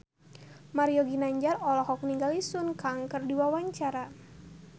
Mario Ginanjar olohok ningali Sun Kang keur diwawancara